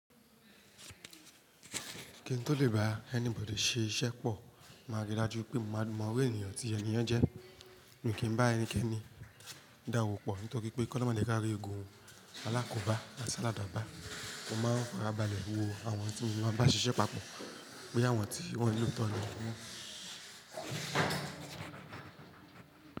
Kí n tó lè bá anybody ṣe iṣẹ́ pọ̀, máa rí i dájú pé mo mọ iru ènìyàn tí ẹni yen jẹ́. Mi kí n bá ẹnikẹ́ni dá owó pọ̀ nítorí pé kó oloun má je ka ri ogun Alákòbá àti aladaba. Mo máa ń faràbàlẹ̀ wo àwọn tí mo maa n bá ṣiṣẹ́ papọ̀ bóyá àwọn tí wọ́n ní oto ni wọ́n.